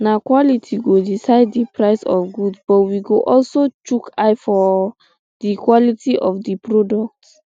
na quality go decide di um price of goods but we go also chook eye for um di quality of di product